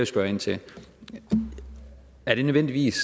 spørge ind til er det nødvendigvis